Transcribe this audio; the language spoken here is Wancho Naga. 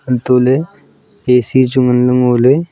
antoh ley A_C chu ngan ley ngo ley.